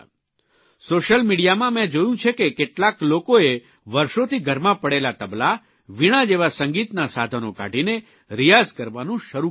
social મિડીયામાં મેં જોયું છે કે કેટલાક લોકોએ વર્ષોથી ઘરમાં પડેલા તબલા વીણા જેવા સંગીતના સાધનો કાઢીને રિયાઝ કરવાનું શરૂ કરી દીધું છે